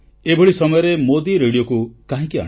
ଏଭଳି ସମୟରେ ମୋଦୀ ରେଡ଼ିଓକୁ କାହିଁକି ଆଣିଲେ